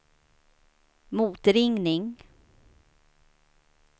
motringning